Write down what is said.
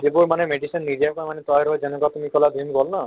যিবোৰ মানে medicine নিদিয়াকৈ মানে তৈয়াৰ হয় যেনুকা তুমি কলা ভীম কল ন